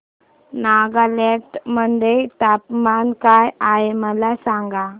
नागालँड मध्ये तापमान काय आहे मला सांगा